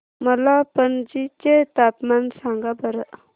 मला पणजी चे तापमान सांगा बरं